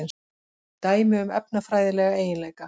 Dæmi um efnafræðilega eiginleika.